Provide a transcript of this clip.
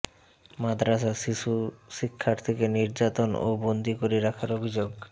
মাদ্রাসায় শিশু শিক্ষার্থীকে নির্যাতন ও বন্দী করে রাখার অভিযোগ